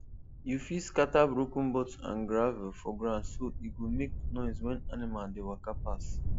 you fit scatter broken bottle and gravel for ground so e go make noise when animal dey waka pass